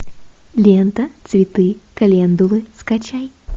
лента цветы календулы скачай